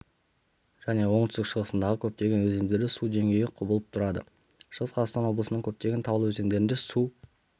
және оңтүстік-шығысындағы көптеген өзендерде су деңгейі құбылып тұрады шығыс қазақстан облысының көптеген таулы өзендерінде су